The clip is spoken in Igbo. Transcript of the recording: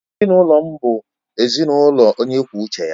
Ezinụlọ m bụ ezinụlọ onye kwuo uche ya.